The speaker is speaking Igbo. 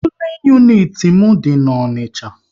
Pulin uniti m dị n'Onicha